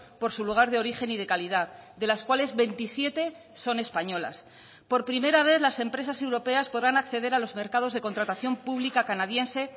por su lugar de origen y de calidad de las cuales veintisiete son españolas por primera vez las empresas europeas podrán acceder a los mercados de contratación pública canadiense